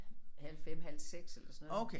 Halv 5 halv 6 eller sådan noget